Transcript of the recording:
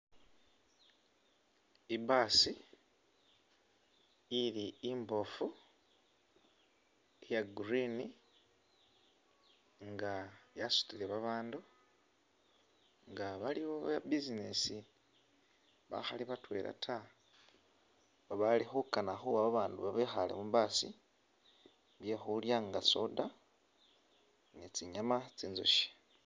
I’bus ili imbofu iya green nga yasutile babandu nga baliwo business bakhali batwela ta bali khukana khuwa abandu bekhale mu bus byekhulya nga soda ni tsinyama tsinjoshe.